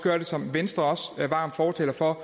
som venstre også er varm fortaler for